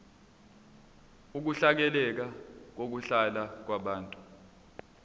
ukuhleleka kokuhlala kwabantu